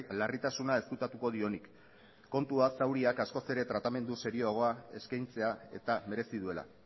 larritasuna ezkutatuko dionik kontua zauriak askoz ere tratamendu serioagoa eskaintzea eta merezi duela